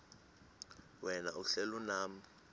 wena uhlel unam